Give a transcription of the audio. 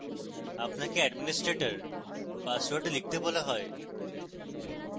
আপনার administrator password লিখতে বলা হবে